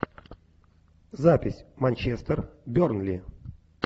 запись манчестер бернли